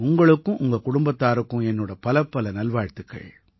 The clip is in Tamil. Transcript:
உங்களுக்கும் உங்க குடும்பத்தாருக்கும் என்னோட பலப்பல நல்வாழ்த்துக்கள்